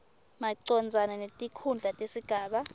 macondzana netikhundla tesigaba